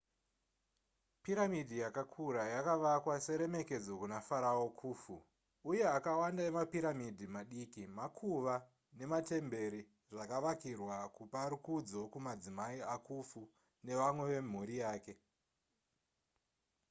piramidhi yakakura yakavakwa seremekedzo kuna farao khufu uye akawanda emapiramidhi madiki makuva nematembere zvakavakirwa kupa rukudzo kumadzimai akhufu nevamwe vemhuri yake